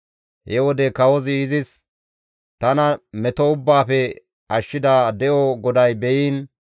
He wode kawozi izis, «Tana meto ubbaafe ashshida de7o GODAY beyiin!